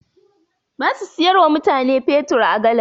Ba su siyar wa mutane fetur a galan.